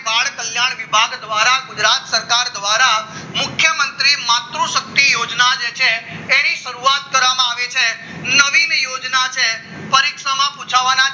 બાળ કલ્યાણ વિભાગ દ્વારા ગુજરાત સરકાર દ્વારા મુખ્યમંત્રી માતૃશક્તિ યોજના જે છે તેને શરૂઆત કરવામાં આવી છે લવિંગ યોજના છે પરીક્ષામાં પુછાવાના